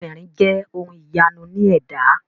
Àwọn obìnrin jẹ ohun ìyanu ní ẹ̀dá.